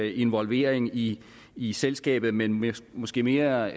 involvering i i selskabet men men måske mere